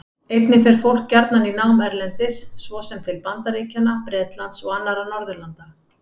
Einnig fer fólk gjarnan í nám erlendis, svo sem til Bandaríkjanna, Bretlands og annarra Norðurlanda.